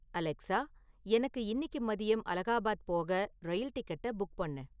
Alexa எனக்கு இன்னிக்கு மதியம் அலகாபாத் போக ரயில் டிக்கெட்டப் புக் பண்ணு